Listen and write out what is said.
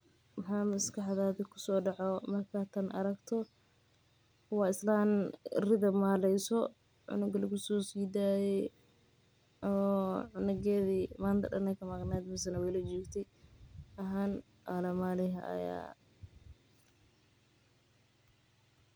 Waxaa maskaxdeyda kusoo dacaaya markaad aragto tan ri cunug oo yaryar madaxa ayuu ufican yahay bulshada dexdeeda.